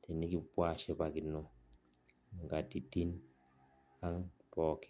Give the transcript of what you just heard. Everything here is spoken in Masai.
tenikupuo ashipakino nkatitin aang oleng.